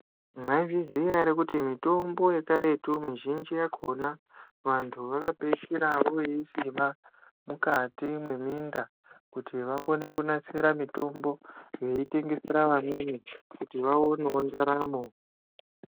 Mwaizviziya ere kuti mitombo yekaretu mizhinji yakona vantu vakapeishira voisima mukati mweminda kuti vakone kunatsira mitombo veitengesera vamweni kuti vaonewo ndaramo.